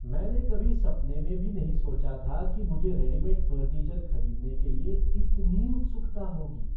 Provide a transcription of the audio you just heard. मैंने कभी सपने में भी नहीं सोचा था कि मुझे रेडीमेड फ़र्नीचर खरीदने के लिए इतनी उत्सुकता होगी।